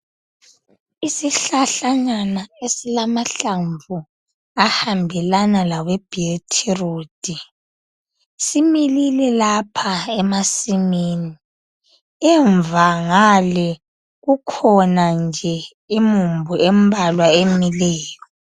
Isihlahlanyana esilamahlamvu aluhlaza awebetroot similile lapha emasimini emuva ngale kukhona nje imumbu embalwa emileyo.